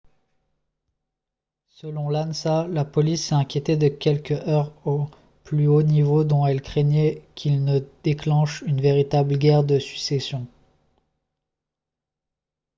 selon l'ansa « la police s'est inquiétée de quelques heurts au plus haut niveau dont elle craignait qu'ils ne déclenchent une véritable guerre de succession »